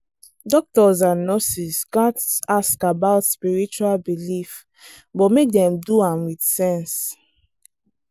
doctors and nurses gats ask about spiritual belief but make dem do am with sense.